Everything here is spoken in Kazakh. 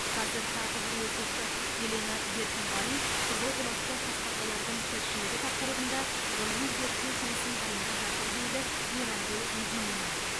қазір тағы бір оқушы елена беркінғали қызыл құлақты тасбақалардың тіршілігі тақырыбында ғылыми зерттеу жұмысын дайындап жатыр дейді мейрамгүл мединина